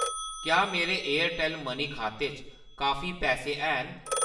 क्या मेरे Airtel money खाते च काफी पैसे हैन ?